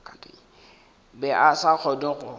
be a sa kgone go